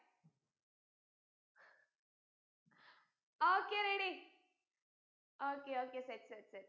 okay ready okay okay set set set